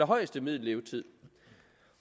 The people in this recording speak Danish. højeste middellevetid